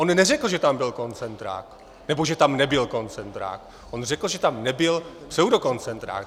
On neřekl, že tam byl koncentrák nebo že tam nebyl koncentrák, on řekl, že tam nebyl pseudokoncentrák.